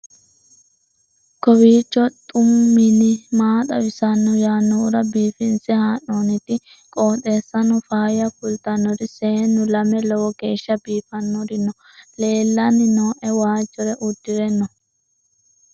kowiicho xuma mtini maa xawissanno yaannohura biifinse haa'noonniti qooxeessano faayya kultannori seennu lame lowo geeeshsha biifannori noori leellanni nooe waajjore udire noori